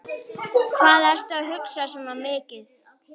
Hvað ertu að hugsa svona mikið?